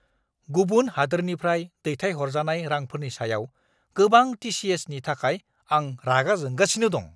गुबुन हादोरनिफ्राय दैथायहरजानाय रांफोरनि सायाव गोबां टि.सि.एस.नि थाखाय आं रागा जोंगासिनो दं।